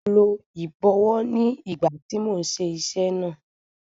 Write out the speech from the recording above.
Mo lo ìbọwọ́ ní ìgbà tí mò ń ṣe iṣẹ́ náà.